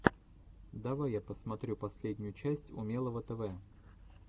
давай я посмотрю последнюю часть умелого тв